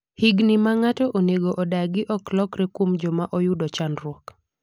higni ma ng'ato onego odagi ok lokre kuom joma oyudo chandruok